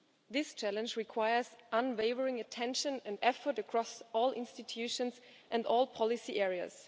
This challenge requires unwavering attention and effort across all institutions and all policy areas.